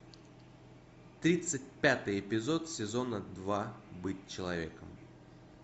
тридцать пятый эпизод сезона два быть человеком